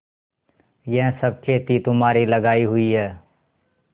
यह सब खेती तुम्हारी लगायी हुई है